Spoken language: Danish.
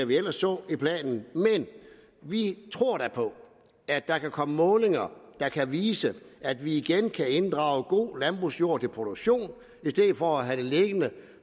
vi ellers så i planen men vi tror da på at der kan komme målinger der kan vise at vi igen kan inddrage god landbrugsjord til produktion i stedet for at have den liggende